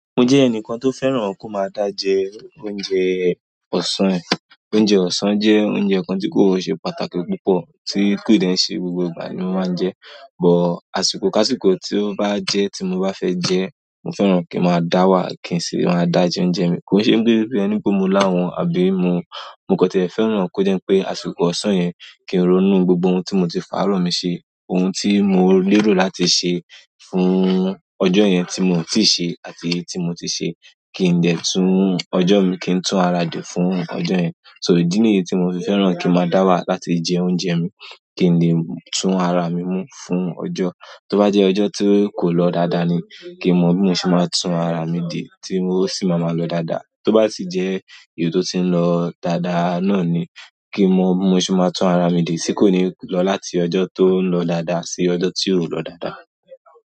Mo jẹ ẹnìkan tó fẹ́ràn kó máa dá jẹ oúnjẹ ọ̀sán e. Oúnjẹ ọ̀sán jẹ́ oúnjẹ kan tí kò ṣe pàtàkì púpọ̀ tí kò dèn- ṣe gbogbo ìgbà ni mo máa ń jẹ. Bọ̀ àsìkò kásìkò tí ó bá jẹ́ tí mo bá fẹ́ jẹ, mo fẹ́ràn kí ń máa dá wà, kí n sì le máa dá jẹ oúnjẹ mi. Kò ṣe pé bi ẹni pé mo láhun o àbí mo. Mo kan tiẹ̀ fẹ́ràn kó jẹ́ wipé àsìkò ọ̀sán yẹn kì n ronú gbogbo ohun tí mo ti fàárọ̀ mi ṣe, ohun tí mo lérò láti ṣe fún ọjọ́ yẹn tí mo ò tíì ṣe àti èyí tí mo ti ṣe kì n de tún ọjọ́ mi kí ń tún ara dè fún ọjọ́ yẹn. So ìdí nìyí tí mo fi fẹ́ràn kí n máa dá wà láti jẹ oúnjẹ mi. Kí n lè tún ara mi mú fún ọjọ́. Tó bá jẹ́ ọjọ́ tí kò lọ dáadáa ni kí n mo, bi mo se máa tún ara mi dè tí o sì máa maa lọ dáadáa. Tó bá sì jẹ́ èyí tó ti ń lọ dáadáa náà ni kí n mo, bi mo se máa tún ara mi dè tí kò ní lọ láti ọjọ́ tó ń lọ dáadáa sí ọjọ́ tí ò ń lọ dáadáa.